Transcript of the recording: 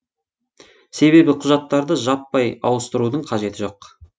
себебі құжаттарды жаппай ауыстырудың қажеті жоқ